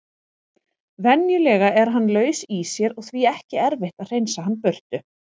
Venjulega er hann laus í sér og því ekki erfitt að hreinsa hann burtu.